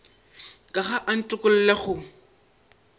ka ga a ntokolle go